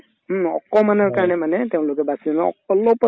হুম, অকমানৰ কাৰণে মানে তেওঁলোকে বাচিল অলপত